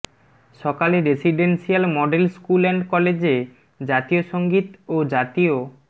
সকালে residential model school and কলেজে জাতীয় সংগীত ও জাতীয়